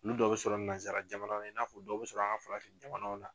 Nuu dɔw bɛ sɔrɔ nansara jamana in n'a fɔ dɔw bɛ sɔrɔ an ka farafin jamanaw na.